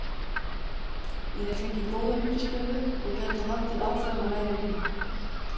Ég hefi fengið góða undirstöðu og gæti haldið áfram að læra heima.